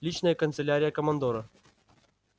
личная канцелярия командора